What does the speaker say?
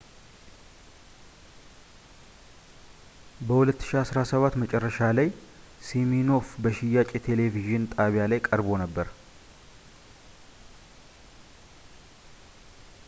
በ2017 መጨረሻ ላይ ሲሚኖፍ በሽያጭ የቴሌቪዥን ጣቢያ ላይ ቀርቦ ነበር